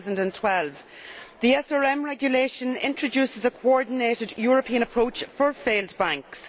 2012. The SRM regulation introduces a coordinated European approach for failed banks.